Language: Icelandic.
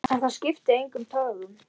En það skipti engum togum.